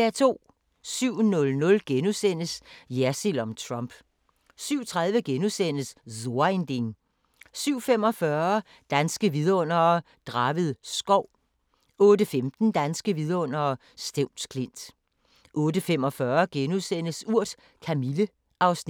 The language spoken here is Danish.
07:00: Jersild om Trump * 07:30: So ein Ding * 07:45: Danske Vidundere: Draved Skov * 08:15: Danske vidundere: Stevns Klint 08:45: Urt: Kamille (Afs. 15)*